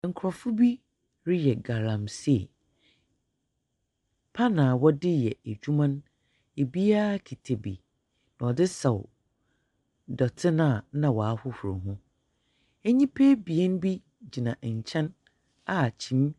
Nkurɔfo bi reyɛ galamse. Pan a wɔde yɛ adwuma no, ebiaa kita bi ɔde saw dɔte na w'ahorow ho. Nnipa abien bi gyina ɛnkyɛn a kyene.